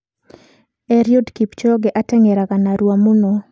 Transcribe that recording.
Eliud Kipchoge ateng'eraga narua mũno.